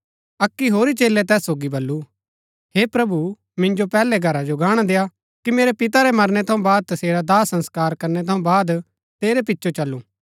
अक्की होरी चेलै तैस सोगी बल्लू हे प्रभु मिन्जो पैहलै घरा जो गाणा देआ कि मेरै पिता रै मरणै थऊँ बाद तसेरा दाह संस्कार करनै थऊँ बाद तेरै पिचो चलूं